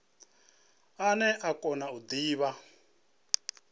ane a kona u divha